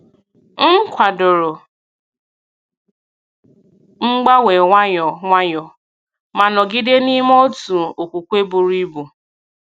M kwàdòrò mgbanwe nwayọ nwayọ, ma nọgide n’ime otu okwukwe buru ibu.